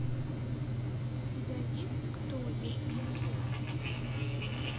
у тебя есть кто если не я